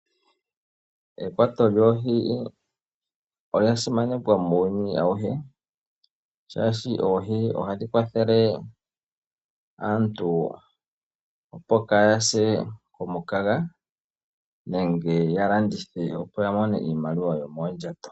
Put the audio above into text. Ekwato lyoohi olyasimana muuyuni awuhe shaashi oohi hadhikwathele aantu opo kaayase kumukaga nenge yalandithe opo yamone iimaliwa yomoondjato.